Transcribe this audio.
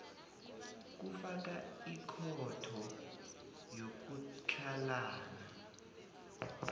kufaka ikhotho yokutlhalana